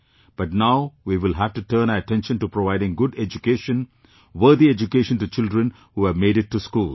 But now we will have to turn our attention to providing good education, worthy education to children who have made it to schools